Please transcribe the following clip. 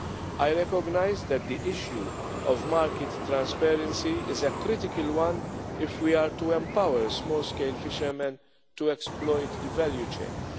EU. I recognise that the issue of market transparency is a critical one if we are to empower small scale fishermen to exploit the value chains.